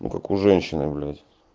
ну как у женщины блять